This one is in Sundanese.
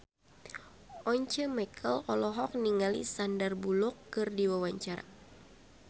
Once Mekel olohok ningali Sandar Bullock keur diwawancara